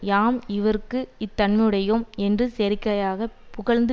யாம் இவருக்கு இத்தன்மையுடையோம் என்று செயற்கையாகப் புகழ்ந்து